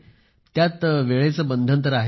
यात वेळेचे बंधन तर आहेच